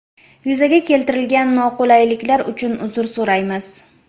Yuzaga keltirilgan noqulayliklar uchun uzr so‘raymiz.